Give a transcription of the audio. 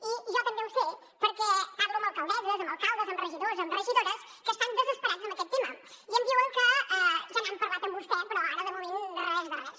i jo també ho sé perquè parlo amb alcaldesses amb alcaldes amb regidors amb regidores que estan desesperats en aquest tema i em diuen que ja n’han parlat amb vostè però ara de moment res de res